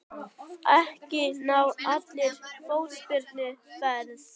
Ekki ná allir fótsporum feðra.